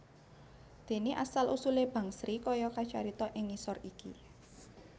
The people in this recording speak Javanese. Dene asal usule Bangsri kaya kacarita ing ngisor iki